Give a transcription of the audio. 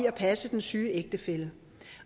at passe den syge ægtefælle